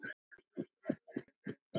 Geturðu ekki komið seinna?